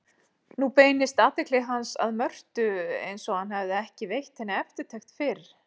Nú beindist athygli hans að Mörtu einsog hann hefði ekki veitt henni eftirtekt fyrr.